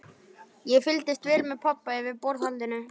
Ég fylgdist vel með pabba yfir borðhaldinu.